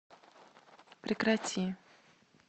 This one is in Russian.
прекрати